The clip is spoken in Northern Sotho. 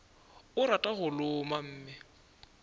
o rata go loma mme